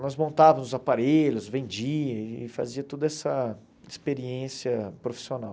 Nós montávamos os aparelhos, vendia e fazia toda essa experiência profissional.